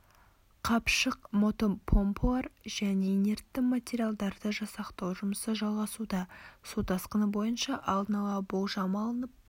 қапшық мотопомпалар және инертті материалдарды жасақтау жұмысы жалғасуда су тасқыны бойынша алдын ала болжам алынып